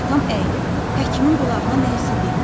Atam əyilib həkimin qulağına nə isə dedi.